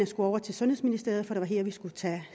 skulle over til sundhedsministeriet for det var her der skulle tages